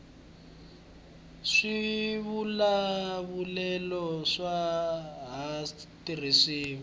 swivulavulelo aswa ha tirhisiwi